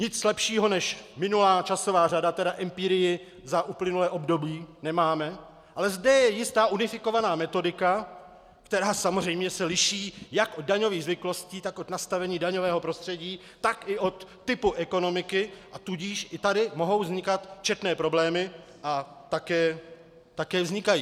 Nic lepšího než minulá časová řada, tedy empirii za uplynulé období, nemáme, ale zde je jistá unifikovaná metodika, která samozřejmě se liší jak od daňových zvyklostí, tak od nastavení daňového prostředí, tak i od typu ekonomiky, a tudíž i tady mohou vznikat četné problémy a také vznikají.